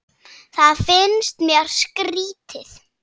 Það finnst mér skrýtið